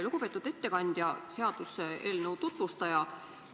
Lugupeetud ettekandja, seaduseelnõu tutvustaja!